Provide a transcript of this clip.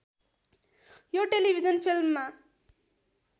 या television फिल्ममा